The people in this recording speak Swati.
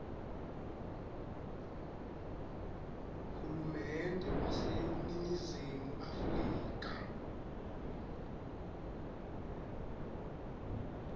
hulumende waseningizimu afrika